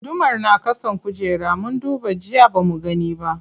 Gudumar na ƙasan kujera, mun duba jiya bamu gani ba.